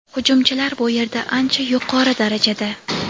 hujumchilar bu yerda ancha yuqori darajada.